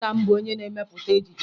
Nna m bụ onye na-emepụta ejije